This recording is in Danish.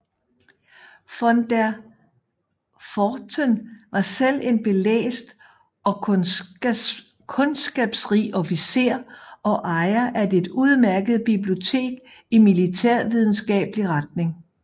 Von der Pfordten var selv en belæst og kundskabsrig officer og ejer af et udmærket bibliotek i militærvidenskabelig retning